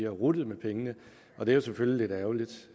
ruttet med pengene og det er selvfølgelig lidt ærgerligt